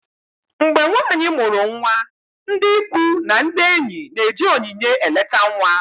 mgbe nwanyị mụrụ nwa, ndị ikwu na ndị enyi na-eji onyinye eleta nwa